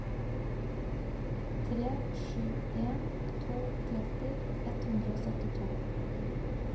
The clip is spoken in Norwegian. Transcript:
tre sju en to tretti ett hundre og syttito